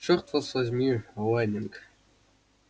чёрт вас возьми лэннинг